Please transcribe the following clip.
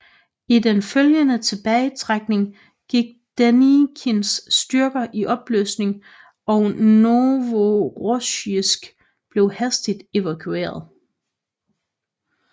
I den følgende tilbagetrækning gik Denikins styrker i opløsning og Novorossijsk blev hastigt evakueret